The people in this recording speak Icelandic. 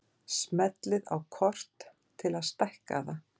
Smellið á kort til að stækka það.